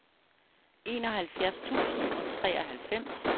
enoghalvfjerds tusind og treoghalvfems